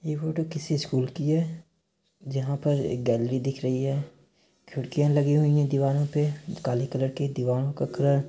ये फोटो किसी स्कूल की है जहाँ पर एक गैलरी दिख रही है खिड़किया लगी हुई है दीवारों पे काली कलर की दीवारों का कलर --